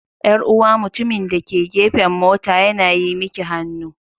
Yar'uwa mutumin da ke gefen mota yana yi miki hannu.